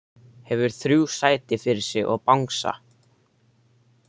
Hefur þrjú sæti fyrir sig og bangsa.